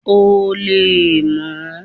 O leè mo